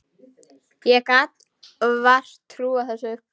Ég gat vart trúað þessu.